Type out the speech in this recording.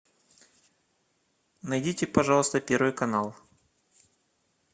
найдите пожалуйста первый канал